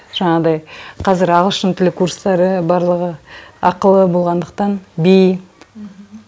жаңағыдай қазір ағылшын тілі курстары барлығы ақылы болғандықтан би